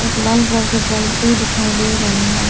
एक लाल कलर पलटी दिखाई दे रही है।